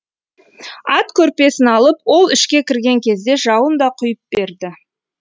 ат көрпесін алып ол ішке кірген кезде жауын да құйып берді